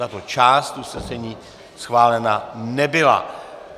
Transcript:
Tato část usnesení schválena nebyla.